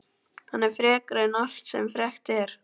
Hann er frekari en allt sem frekt er.